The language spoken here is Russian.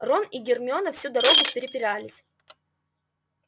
рон и гермиона всю дорогу препирались